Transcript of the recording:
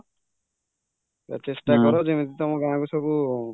ତ ଚେଷ୍ଟା କର ଯେମିତି ତମ ଗାଁକୁ ସବୁ